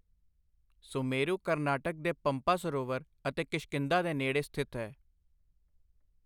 ਸੁਮੇਰੂ ਕਰਨਾਟਕ ਦੇ ਪੰਪਾ ਸਰੋਵਰ ਅਤੇ ਕਿਸ਼ਕਿੰਧਾ ਦੇ ਨੇੜੇ ਸਥਿਤ ਹੈ।